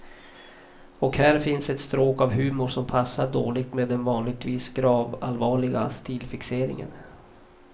Och här finns ett stråk av humor som passar dåligt med den vanligtvis gravallvarliga stilfixeringen.